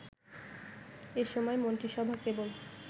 এ সময় মন্ত্রিসভা কেবল